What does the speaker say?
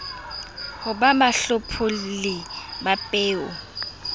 ho ba bahlopholli ba peo